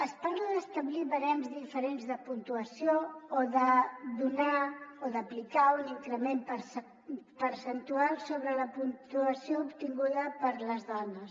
es parla d’establir barems diferents de puntuació o d’aplicar un increment percentual sobre la puntuació ob·tinguda per les dones